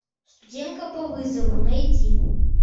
студентка по вызову найди